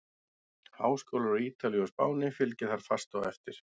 Háskólar á Ítalíu og Spáni fylgja þar fast á eftir.